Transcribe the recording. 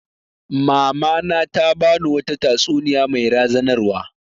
Mama na ta ba ni wata tatsuniya mai razanarwa